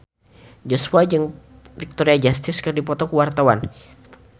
Joshua jeung Victoria Justice keur dipoto ku wartawan